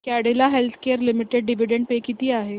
Cadila Healthcare Limited dividend pay किती आहे